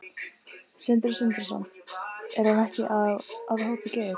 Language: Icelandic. Sindri Sindrason: Er hann ekki að hóta Geir?